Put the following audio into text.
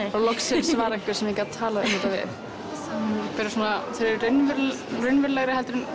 loksins var einhver sem ég gat talað um þetta við þeir eru raunverulegri raunverulegri heldur en